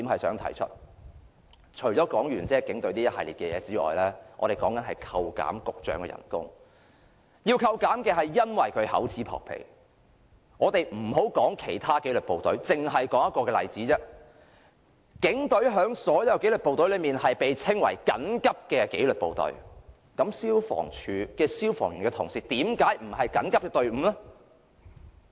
說畢警隊這一系列的事件，我們要求扣減局長的薪酬，因為他厚此薄彼，我們暫不談其他紀律部隊，只說一個例子：警隊在所有紀律部隊中被稱為緊急紀律部隊，那消防處的消防員同事為甚麼不是緊急的隊伍呢？